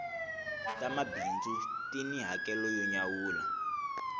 ta mabindzu ti ni hakelo yo nyawula